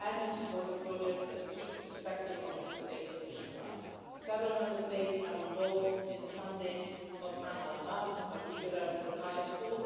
and in support of projects that keep the perspective of a two state solution alive. Several Member States are involved in the funding of Khan al Ahmar, in particular, the tyre school.